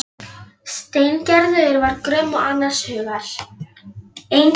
Og minnumst þess hvernig fór fyrir Snorra Sturlusyni!